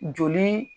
Joli